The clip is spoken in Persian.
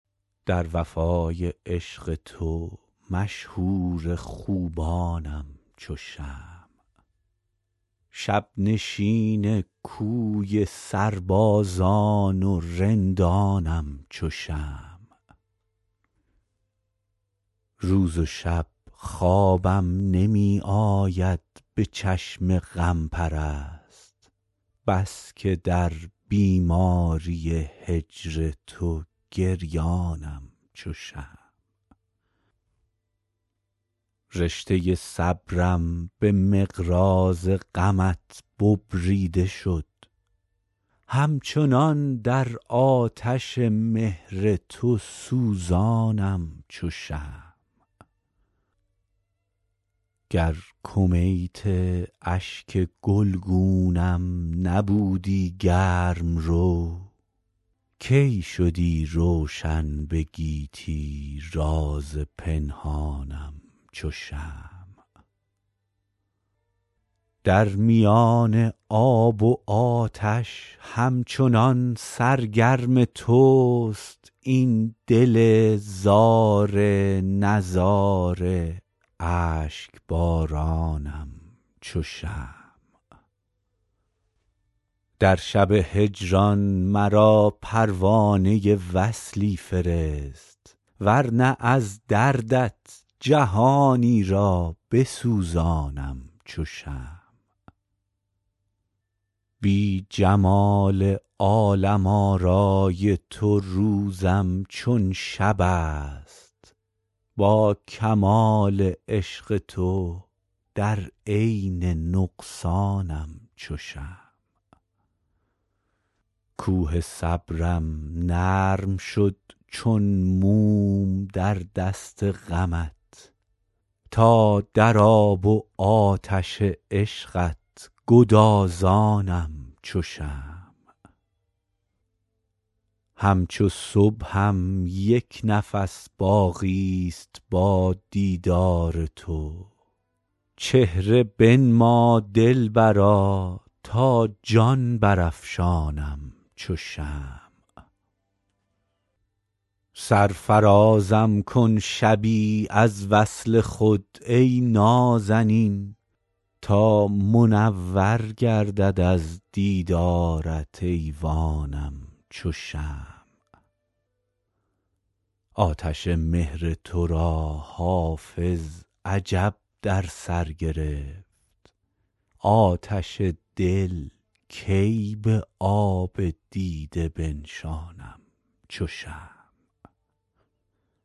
در وفای عشق تو مشهور خوبانم چو شمع شب نشین کوی سربازان و رندانم چو شمع روز و شب خوابم نمی آید به چشم غم پرست بس که در بیماری هجر تو گریانم چو شمع رشته صبرم به مقراض غمت ببریده شد همچنان در آتش مهر تو سوزانم چو شمع گر کمیت اشک گلگونم نبودی گرم رو کی شدی روشن به گیتی راز پنهانم چو شمع در میان آب و آتش همچنان سرگرم توست این دل زار نزار اشک بارانم چو شمع در شب هجران مرا پروانه وصلی فرست ور نه از دردت جهانی را بسوزانم چو شمع بی جمال عالم آرای تو روزم چون شب است با کمال عشق تو در عین نقصانم چو شمع کوه صبرم نرم شد چون موم در دست غمت تا در آب و آتش عشقت گدازانم چو شمع همچو صبحم یک نفس باقی ست با دیدار تو چهره بنما دلبرا تا جان برافشانم چو شمع سرفرازم کن شبی از وصل خود ای نازنین تا منور گردد از دیدارت ایوانم چو شمع آتش مهر تو را حافظ عجب در سر گرفت آتش دل کی به آب دیده بنشانم چو شمع